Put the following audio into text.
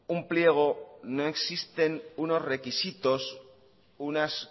un pliego no existen unos requisitos unas